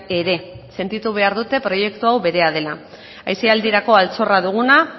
ere sentitu behar dute proiektu hau berea dela aisialdirako altxorra duguna